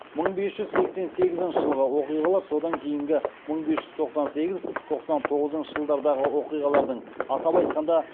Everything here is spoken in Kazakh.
мың бес жүз сексен сегізінші жылғы оқиғалар содан кейінгі мың бес жүз тоқсан сегіз тоқсан тоғызыншы жылдардағы оқиғалардың атап айтқанда